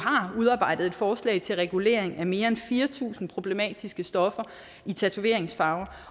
udarbejdet et forslag til regulering af mere end fire tusind problematiske stoffer i tatoveringsfarver